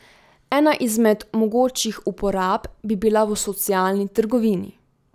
Ena izmed mogočih uporab bi bila v socialni trgovini.